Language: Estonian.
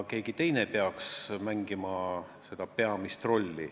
Keegi teine peaks mängima peamist rolli.